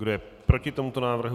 Kdo je proti tomuto návrhu?